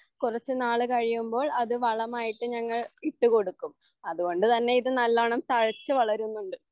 കുറച്ചുനാൾ കഴിയുമ്പോൾ അത് വളമായിട്ട് ഞങ്ങൾ ഇട്ടുകൊടുക്കും അതുകൊണ്ട് തന്നെ ഇതു നല്ലവണ്ണം തഴച്ചു വളരുന്നുണ്ട്